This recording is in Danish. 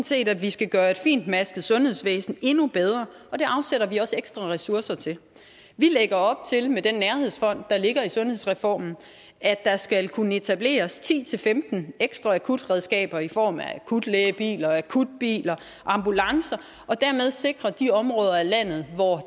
set at vi skal gøre et fintmasket sundhedsvæsen endnu bedre og det afsætter vi også ekstra ressourcer til vi lægger op til med den nærhedsfond der ligger i sundhedsreformen at der skal kunne etableres ti til femten ekstra akutberedskaber i form af akutlægebiler akutbiler og ambulancer for dermed at sikre de områder af landet hvor